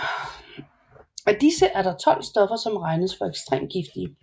Af disse er der 12 stoffer som regnes for ekstremt giftige